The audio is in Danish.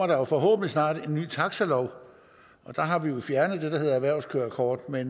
der forhåbentlig snart kommer en ny taxalov der har vi fjernet erhvervskørekortet